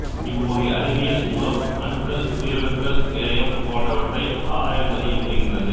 இவ்வகை அறிவியல் மூலம் அணுக்கள் உயிரணுக்கள் இழையம் போன்றவற்றை ஆராய்ந்தறிய முடிகின்றது